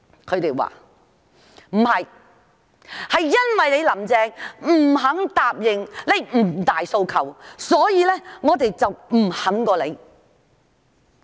他們說，因為"林鄭"不肯答應"五大訴求"，所以他們不罷休。